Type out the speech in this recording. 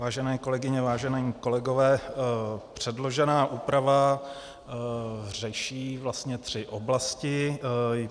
Vážené kolegyně, vážení kolegové, předložená úprava řeší vlastně tři oblasti.